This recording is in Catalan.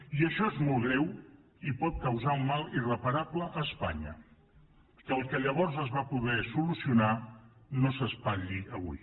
i això és molt greu i pot causar un mal irreparable a espanya que el que llavors es va poder solucionar no s’espatlli avui